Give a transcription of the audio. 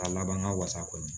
A laban ka wasa kɔni